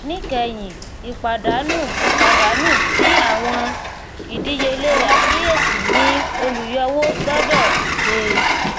níkẹyìn ìpàdánù ìpàdánù ti àwọn ìdíyelé àkíyèsí ni olùyọwó gbọdọ gbé